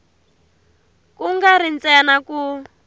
ku nga ri ntsena ku